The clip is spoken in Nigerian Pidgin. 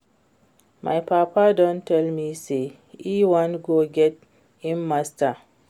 My papa don tell me say e wan go get im Masters